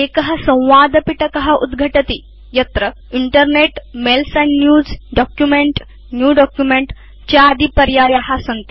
एक संवादपिटक उद्घटति यस्मिन् internet mails and news document New document चादिपर्याया सन्ति